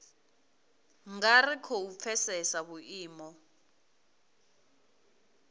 nga ri khou pfesesa vhuimo